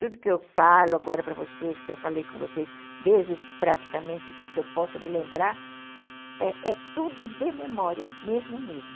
Tudo que eu falo agora para vocês, que eu falei com vocês, desde praticamente que eu possa me lembrar, é tudo de memória, mesmo mesmo.